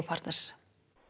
partners